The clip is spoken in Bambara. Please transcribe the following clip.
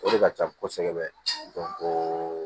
O de ka ca kosɛbɛ o